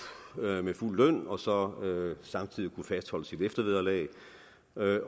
med fuld løn og samtidig kunnet fastholde sit eftervederlag